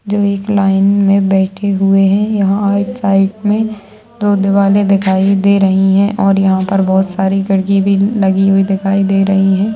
जो एक लाइन में बैठे हुए हैं यहाँ आईड साइड में दो दीवाले दिखाई दे रही हैं और यहाँ पर बोहित सारी खिड़की भी लगी हुई दिखाई दे रही हैं।